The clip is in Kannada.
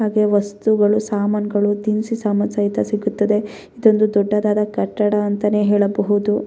ಹಾಗೆ ವಸ್ತುಗಳು ಸಾಮಾನ್ಗಳು ದಿನಸಿ ಸಾಮಾನ್ ಸಹಿತ ಸಿಗುತ್ತದೆ ಇದೊಂದು ದೊಡ್ಡದಾದ ಕಟ್ಟಡ ಅಂತಾನೆ ಹೇಳಬಹುದು .